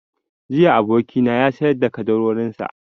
Jiya abokina ya sayar da ƙaddarorin sa